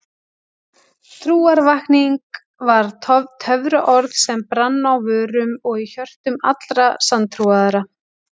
Trúarvakning var töfraorð sem brann á vörum og í hjörtum allra sanntrúaðra.